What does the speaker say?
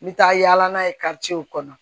N bɛ taa yaala n'a ye kɔnɔ